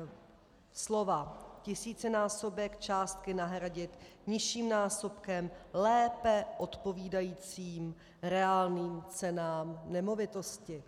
- slova tisícinásobek částky nahradit nižším násobkem lépe odpovídajícím reálným cenám nemovitosti.